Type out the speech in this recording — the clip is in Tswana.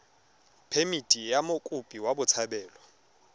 phemithi ya mokopi wa botshabelo